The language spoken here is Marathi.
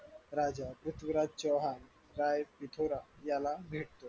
राजा पृथ्वीराज चव्हाण गाय याला भेट द्या